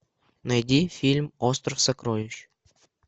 найди фильм остров сокровищ